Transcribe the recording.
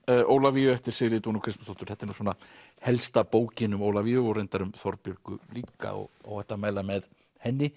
Ólafíu eftir Sigríði Kristmundsdóttur þetta er nú svona helsta bókin um Ólafíu og reyndar um Þorbjörgu líka og óhætt að mæla með henni